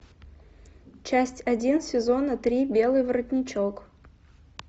часть один сезона три белый воротничок